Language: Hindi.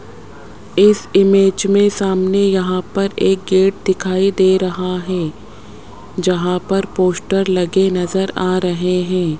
इस इमेज में सामने यहां पर एक गेट दिखाई दे रहा है जहां पर पोस्टर लगे नजर आ रहे हैं।